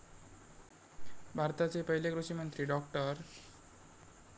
भारताचे पहिले कृषिमंत्री डॉ.